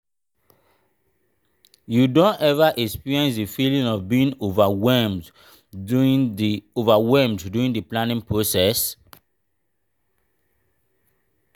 you don ever experience di feeling of being overwhelmed during di overwhelmed during di planning process?